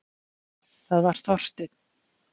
Það var Þorsteinn.